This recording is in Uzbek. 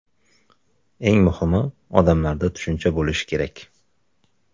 Eng muhimi odamlarda tushuncha bo‘lishi kerak.